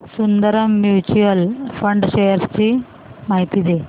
Sundaram mutual fund shares ची माहिती दे